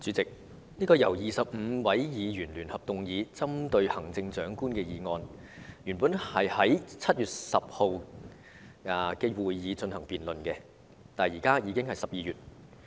主席，這項由25位議員聯合動議、針對行政長官的議案，原訂在7月10日的會議上進行辯論，但現在已經是12月了。